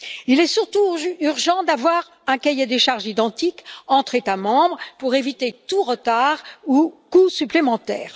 Il est surtout urgent d'avoir un cahier des charges identique entre États membres pour éviter tout retard ou coût supplémentaire.